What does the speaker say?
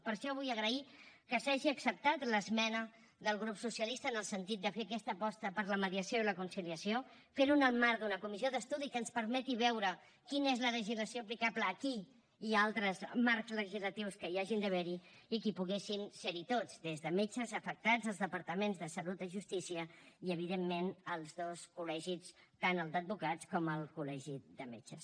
per això vull agrair que s’hagi acceptat l’esmena del grup socialista en el sentit de fer aquesta aposta per la mediació i la conciliació fer ho en el marc d’una comissió d’estudi que ens permeti veure quina és la legislació aplicable aquí i a altres marcs legislatius que hi hagin d’haver i que hi poguessin ser tots des de metges a afectats els departaments de salut i justícia i evidentment els dos col·legis tant el d’advocats com el col·legi de metges